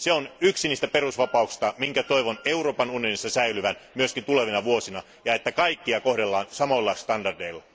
Se on yksi niistä perusvapauksista, jonka toivon Euroopan unionissa säilyvän myös tulevina vuosina. Toivon myös, että kaikkia kohdellaan samoilla standardeilla.